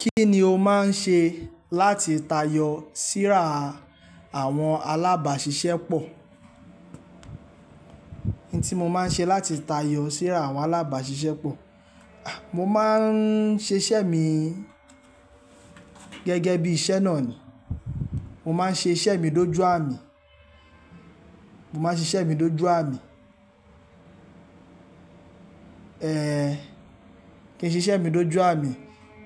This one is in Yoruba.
Kí ni o máa ń ṣe láti tayọ síra àwọn alábáṣiṣẹ́ pọ̀? N tí mo máa ń ṣe láti tayọ síra àwọn alábàṣiṣẹ́ pọ̀, mo máa ń ṣe iṣẹ́ mi gẹ́gẹ́ bí iṣẹ́ náà ni. Mo máa ń ṣe iṣẹ́ mi dójú àmi, mo máa ń ṣe iṣẹ́ mi dójú àmi. Kí n ṣe iṣẹ́ mi dójú àmi,